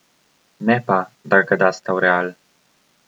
Ne pa, da ga dasta v Real.